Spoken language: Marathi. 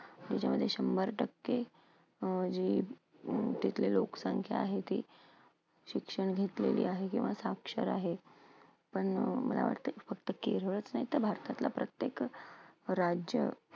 त्याच्यामध्ये शंभर टक्के अं जी तिथली लोकसंख्या आहे ती शिक्षण घेतलेली आहे किंवा साक्षर आहेत. पण मला वाटतंय, फक्त केरळच नाही तर भारतातलं प्रत्येक राज्य